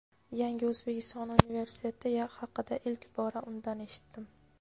"Yangi O‘zbekiston" universiteti haqida ilk bora undan eshitdim.